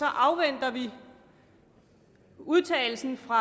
afventer vi udtalelsen fra